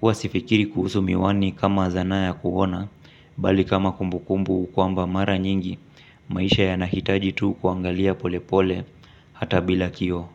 huwa sifikiri kuhusu miwani kama zana ya kuoana, bali kama kumbukumbu kwamba mara nyingi, maisha yanahitaji tu kuangalia polepole, hata bila kioo.